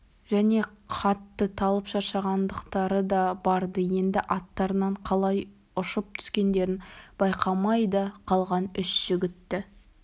және қатты талып шаршағандықтары да бар-ды енді аттарынан қалай ұшып түскендерін байқамай да қалған үш жігітті